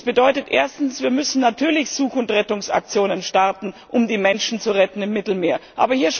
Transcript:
Es bedeutet erstens Wir müssen natürlich Such und Rettungsaktionen starten, um die Menschen im Mittelmeer zu retten.